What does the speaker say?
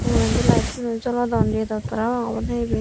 ugurendi lite tuno jolodon redot parapang obode iben.